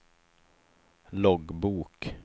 loggbok